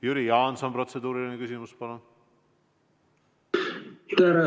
Jüri Jaanson, protseduuriline küsimus, palun!